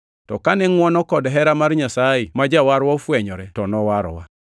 To kane ngʼwono kod hera mar Nyasaye ma Jawarwa ofwenyore to nowarowa.